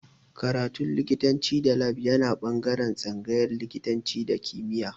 Karatu likitanci da lab yana ɓangaren tsangayar likitanci da kimiya